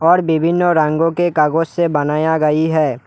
और विभिन्न रंगों के कागज से बनाया गई है।